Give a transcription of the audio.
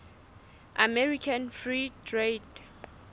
american free trade